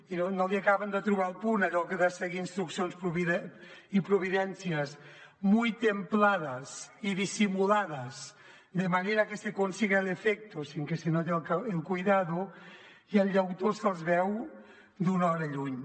i no li acaben de trobar el punt a allò de seguir instruccions i providències muy templadas y disimuladas de manera que se consiga el efecto sin que se note el cuidado i el llautó se’ls veu d’una hora lluny